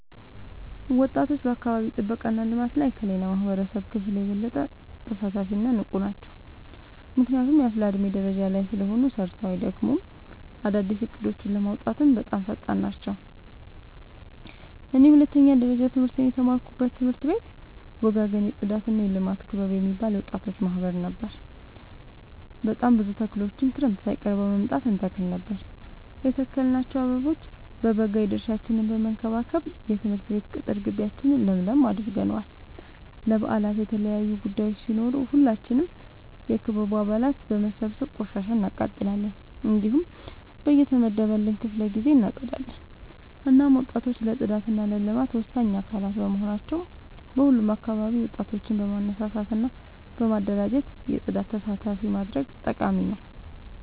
ወጣቶች በአካባቢ ጥብቃ እና ልማት ላይ ከሌላው የማህበረሰብ ክፍል የበለጠ ተሳታፊ እና ንቁ ናቸው። ምክንያቱም አፋላ የዕድሜ ደረጃ ላይ ስለሆኑ ሰርተው አይደክሙም፤ አዳዲስ እቅዶችን ለማውጣትም በጣም ፈጣን ናቸው። እኔ የሁለተኛ ደረጃ ትምህርቴን የተማርኩበት ትምህርት ቤት ወጋገን የፅዳትና የልማት ክበብ የሚባል የወጣቶች ማህበር ነበር። በጣም ብዙ ተክሎችን ክረምት ሳይቀር በመምጣ እንተክል ነበር የተከልናቸው አበቦ በበጋ የድርሻችን በመከባከብ የትምህርት ቤት ቅጥር ጊቢያችን ለምለም አድርገነዋል። ለበአላት የተለያዩ ቡዳዮች ሲኖሩ ሁላችንም የክበቡ አባላት በመሰብሰብ ቆሻሻ እናቃጥላለን። እንዲሁም በየተመደበልን ክፍለ ጊዜ እናፀዳለን። እናም ወጣቶች ለፅዳት እና ለልማት ወሳኝ አካላት በመሆናቸው በሁሉም አካባቢ ወጣቶችን በማነሳሳት እና በማደራጀት የፅዳት ስራ ተሳታፊ ማድረግ ጠቃሚ ነው።